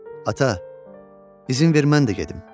Ata, izin ver mən də gedim.